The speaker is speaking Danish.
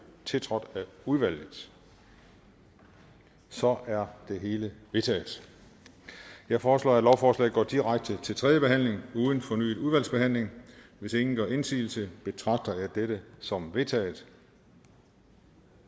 tiltrådt af udvalget så er det hele vedtaget jeg foreslår at lovforslaget går direkte til tredje behandling uden fornyet udvalgsbehandling hvis ingen gør indsigelse betragter jeg dette som vedtaget